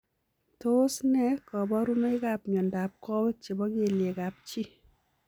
Tos nee kabarunoik ap miondop kowek chepo kelyek ap chii ?